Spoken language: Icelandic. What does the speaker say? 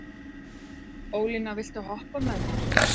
Ólína, viltu hoppa með mér?